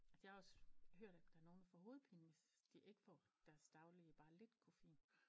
Altså jeg har også hørt at der er nogle der får hovedpine hvis de ikke får deres daglige bare lidt koffein